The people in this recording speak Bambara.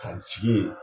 Ka jigin yen